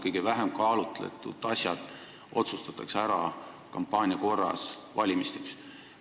Kõige vähem kaalutletud asjad otsustatakse ära kampaania korras, valimisteks.